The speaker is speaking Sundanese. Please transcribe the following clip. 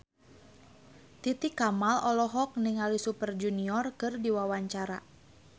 Titi Kamal olohok ningali Super Junior keur diwawancara